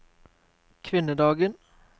kvinnedagen